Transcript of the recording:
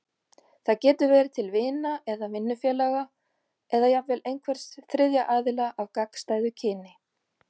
Það getur verið til vina eða vinnufélaga, eða jafnvel einhvers þriðja aðila af gagnstæðu kyni.